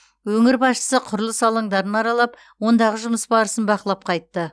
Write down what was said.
өңір басшысы құрылыс алаңдарын аралап ондағы жұмыс барысын бақылап қайтты